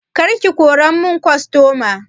Kar ki kora mun kostoma!